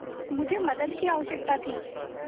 मुझे मदद की आवश्यकता थी